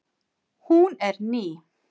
Hún er ný.